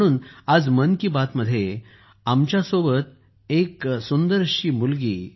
म्हणून आज मन की बात मध्ये आमच्यासोबत एक गोंडस मुलगी